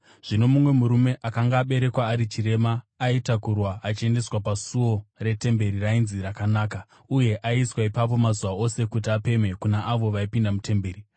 Zvino mumwe murume akanga aberekwa ari chirema, aitakurwa achiendeswa pasuo retemberi rainzi Rakanaka, uye aiiswa ipapo mazuva ose kuti apemhe kuna avo vaipinda mutemberi.